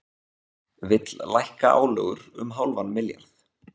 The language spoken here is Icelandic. Vill lækka álögur um hálfan milljarð